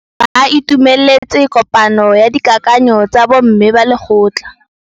Ba itumeletse kôpanyo ya dikakanyô tsa bo mme ba lekgotla.